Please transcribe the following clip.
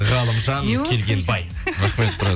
ғалымжан келгенбай рахмет брат